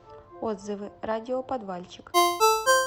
отзывы радиоподвальчик